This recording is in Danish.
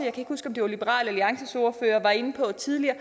ikke huske om det var liberal alliances ordfører var inde på tidligere